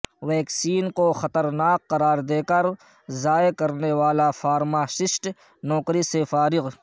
vaccine کو خطرناک قرار دے کر ضائع کرنے والا فارماسسٹ نوکری سے فارغ